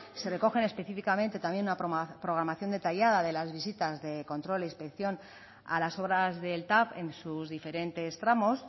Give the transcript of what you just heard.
se recogen específicamente también la programación detallada de las visitas de control e inspección a las obras del tav en sus diferentes tramos